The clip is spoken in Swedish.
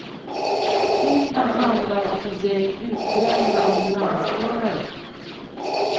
Filmen handlar om ett gäng utbrända ambulansförare.